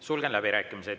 Sulgen läbirääkimised.